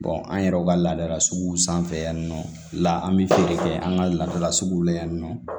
an yɛrɛw ka laadala suguw sanfɛ yan nɔ la an bɛ feere kɛ an ka ladala suguw la yan nɔ